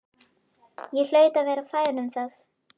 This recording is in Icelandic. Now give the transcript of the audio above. Ég hlaut að vera fær um það.